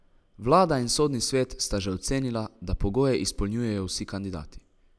Vlada in Sodni svet sta že ocenila, da pogoje izpolnjujejo vsi kandidati.